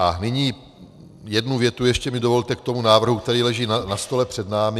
A nyní jednu větu ještě mi dovolte k tomu návrhu, který leží na stole před námi.